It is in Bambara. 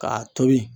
K'a tobi